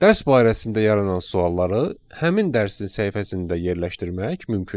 Dərs barəsində yaranan sualları həmin dərsin səhifəsində yerləşdirmək mümkündür.